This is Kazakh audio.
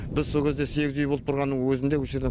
біз со кезде сегіз үй болып тұрғанның өзінде осы жерде